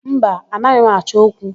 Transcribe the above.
Mba, anaghị m achọ okwu.